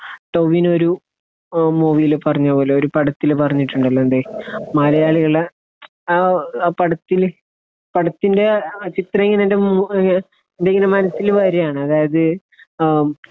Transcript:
ടൊവീനോ ഒരു മൂവീല് പറഞ്ഞപോലെ, ഒരു പടത്തില് പറഞ്ഞിട്ടുണ്ടല്ലോ എന്തേ മലയാളികളെ, ആ പടത്തില് പടത്തിന്റെ ആ ചിത്രം ഇങ്ങനെ എന്റെ മുന്പിലിങ്ങനെ മനസ്സില് വരികയാണ്. അതായത് അഹ്